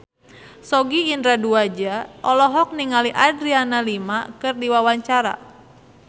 Sogi Indra Duaja olohok ningali Adriana Lima keur diwawancara